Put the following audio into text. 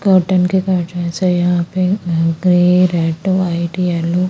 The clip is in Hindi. कोटन के है यहा पे ग्रे रेड वाइट येलो --